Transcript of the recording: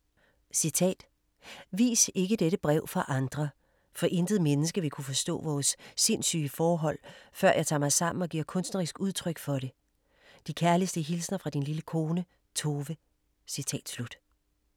”Vis ikke dette brev til andre, for intet menneske vil kunne forstå vores sindssyge forhold, før jeg tager mig sammen og giver kunstnerisk udtryk for det. De kærligste hilsener fra din lille kone Tove”